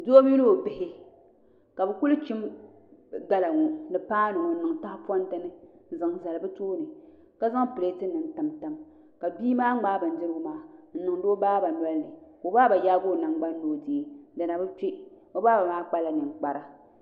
Doo mini o bihi ka bi ku chim gala ŋo ni paanu ŋo n niŋ tahaponti ni n zaŋ zali bi tooni ka zaŋ pileet nim tamtam ka bia maa ŋmaai bindirigu maa n niŋdi o baaba nolini ka o baaba yaagi o nangbani ni o deei di na bi kpɛ o baaba maa kpala ninkpara